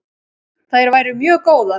Þær væru mjög góðar.